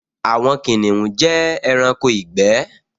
Àwọn kìnìún jẹ́ ẹranko ìgbẹ́